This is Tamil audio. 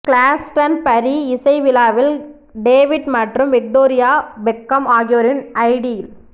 கிளாஸ்டன்பரி இசை விழாவில் டேவிட் மற்றும் விக்டோரியா பெக்காம் ஆகியோரின் ஐடில்